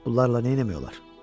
Bunlarla nə etmək olar?